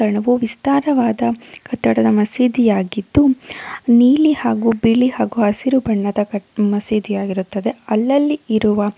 ಯಾವ್ದೋ ವಿಸ್ತಾರವಾದ ಕಟ್ಟಡದ ಮಸೀದಿಯಾಗಿದ್ದು ನೀಲಿ ಹಾಗು ಇಲಿ ಹಾಗು ಹಸಿರು ಬಣ್ಣದ ಮಸೀದಿಯಾಗಿರುತ್ತದೆ. ಅಲ್ಲಲ್ಲಿ ಇರುವ--